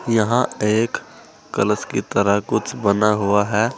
यहां एक कलश की तरह कुछ बना हुआ है।